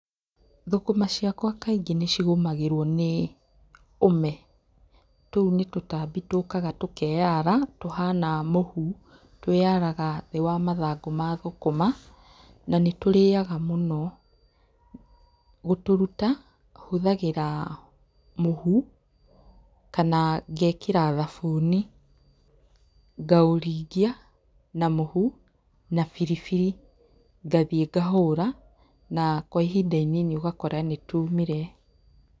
Thũkũma ciakwa kaingĩ nĩ cigũmagĩrwo nĩ ũme. Tũu nĩ tũtambi tũũkaga tũkeara, tũhana mũhu. Twĩaraga thĩ wa mathangũ ma thũkũma, na nĩ tũrĩaga mũno. Gũtũruta hũthagĩra mũhu kana ngeekĩra thabuni, ngaũringia na mũhu, na biribiri ngathiĩ ngahũra, na kwa ihinda inini ũgakora nĩ tuumire.